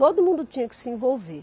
Todo mundo tinha que se envolver.